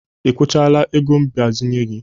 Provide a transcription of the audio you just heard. I kwụchala ego mgbazinye gị?